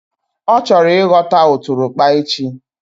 Ọ chọrọ ịghọta ụtụrụkpa echi